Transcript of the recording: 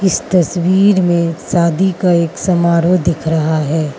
इस तस्वीर में शादी का एक समारोह दिख रहा है।